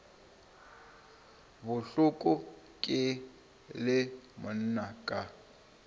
bohloko ke le monna ka